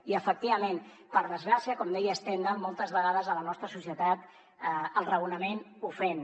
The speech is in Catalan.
i efectivament per desgràcia com deia stendhal moltes vegades a la nostra societat el raonament ofèn